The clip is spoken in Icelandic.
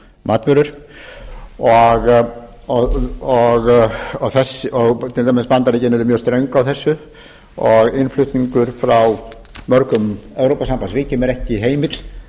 matvörur og til dæmis bandaríkin eru mjög ströng á þessu og innflutningur frá mörgum evrópusambandsríkjum er ekki heimill